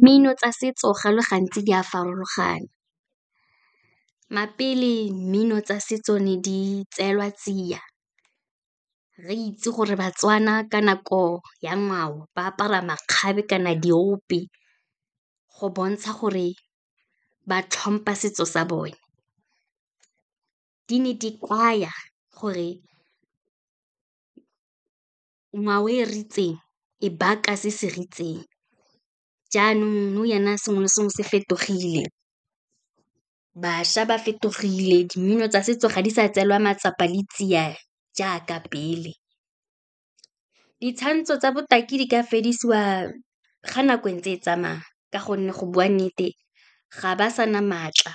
Mmino tsa setso go le gantsi di a farologana, mmino tsa setso ne di tseelwa tsia, re itse gore baTswana ka nako ya ngwao ba apara makgabe kana diope, go bontsha gore ba tlhompha setso sa bone. Di ne di kaya gore ngwao e , e baka se se , jaanong nou jana, sengwe le sengwe se fetogile, bašwa ba fetogile, di mmino tsa setso ga di sa tseelwa matsapa le tsia, jaaka pele. Ditshwantsho tsa botaki di ka fedisiwa ga nako entse e tsamaya, ka gonne go bua nnete, ga ba sa na maatla